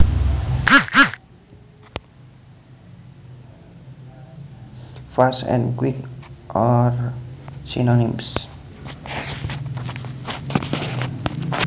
Fast and quick are synonyms